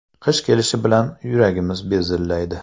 Qish kelishi bilan yuragimiz bezillaydi.